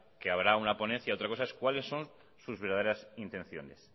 que habrá una ponencia otra cosa es cuáles son sus verdaderas intenciones